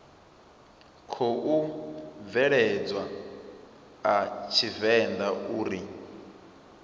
khou bveledzwa a tshivenḓa uri